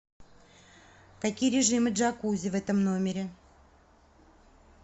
какие режимы джакузи в этом номере